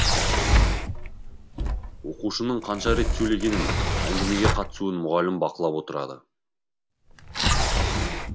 оқушының қанша рет сөйлегенін әңгімеге қатысуын мұғалім бақылап отырады